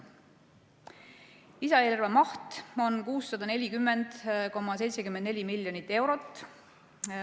Lisaeelarve maht on 640,74 miljonit eurot.